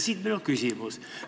Siit minu küsimus.